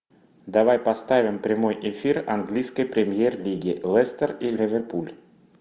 давай поставим прямой эфир английской премьер лиги лестер и ливерпуль